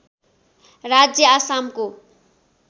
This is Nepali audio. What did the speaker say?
राज्य आसामको